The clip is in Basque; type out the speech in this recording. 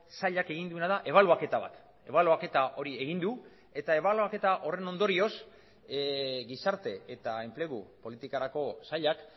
sailak egin duena da ebaluaketa bat ebaluaketa hori egin du eta ebaluaketa horren ondorioz gizarte eta enplegu politikarako sailak